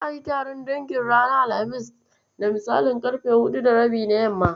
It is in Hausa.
Za'a yi taron dangin ranar Alhamis da misalin ƙarfe huɗu da rabi na yamma.